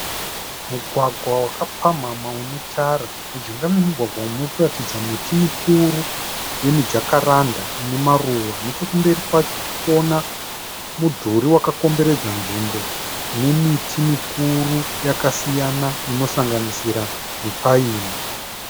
Mugwagwa waka pamhamha une tara. Mujinga memugwagwa umu muri kuratidza miti mikuru yemu Jakaranda ine maruva. Neche kumberi kwacho tirikuona mudhuri wakakomberedza nzvimbo ine miti mikuru yakasiyana inosanganisira miPaini.